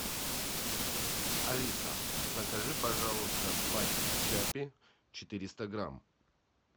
алиса закажи пожалуйста пачку чаппи четыреста грамм